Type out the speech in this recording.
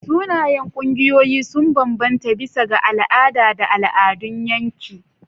Sunayen ƙungiyoyi sun bambanta bisa ga al'ada da al'adun yanki.